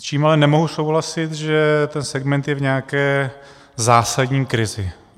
S čím ale nemohu souhlasit, že ten segment je v nějaké zásadní krizi.